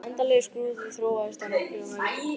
Þessi endanlegi skrúði þróaðist á nokkrum öldum.